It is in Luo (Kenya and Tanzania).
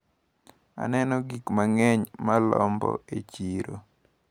Aneno gik mang`eny malombo e chiro.